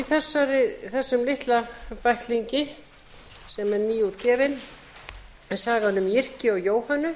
þessum litla bæklingi sem er nýútgefinn er sagan um jyrki og jóhönnu